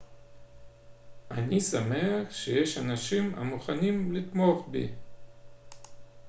אני שמח שיש אנשים המוכנים לתמוך בי